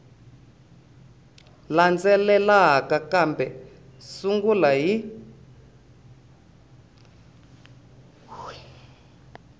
landzelaka kambe u sungula hi